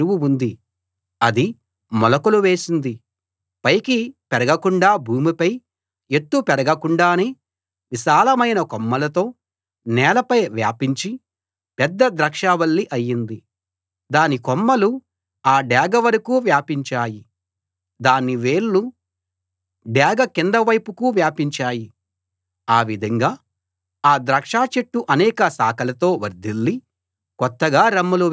అది మొలకలు వేసింది పైకి పెరగకుండా భూమిపై ఎత్తు పెరగకుండానే విశాలమైన కొమ్మలతో నేలపై వ్యాపించి పెద్ద ద్రాక్షావల్లి అయింది దాని కొమ్మలు ఆ డేగ వరకూ వ్యాపించాయి దాని వేళ్ళు డేగ కింద వైపుకు వ్యాపించాయి ఆ విధంగా ఆ ద్రాక్ష చెట్టు అనేక శాఖలతో వర్ధిల్లి కొత్తగా రెమ్మలు వేసింది